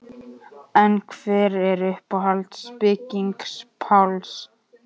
En hver er uppáhalds bygging Páls?